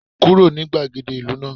Kúrò ní gbàgede ìlú náà